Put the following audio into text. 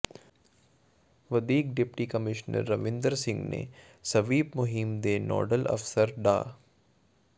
ਵਧੀਕ deputy commissioner Ravinder Singh ਨੇ SVEEP ਮੁਹਿੰਮ ਦੇ ਨੋਡਲ ਅਫਸਰ ਡਾ